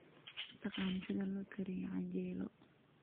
Ma taqaan sida loo kariyo canjeelo?